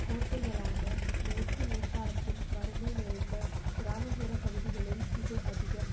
கோட்டைகளான மேற்கு நேப்பாளத்தின் வறுமை நிறைந்த கிராம புற பகுதிகளில் இது அதிகம்